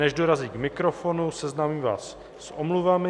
Než dorazí k mikrofonu, seznámím vás s omluvami.